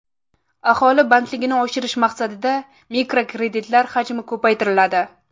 Aholi bandligini oshirish maqsadida mikrokreditlar hajmi ko‘paytiriladi.